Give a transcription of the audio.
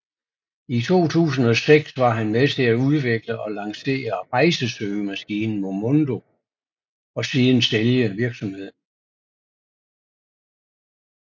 I 2006 var han med til at udvikle og lancere rejsesøgemaskinen Momondo og siden sælge virksomheden